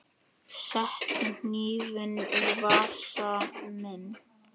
Settu hnífinn í vasa minn.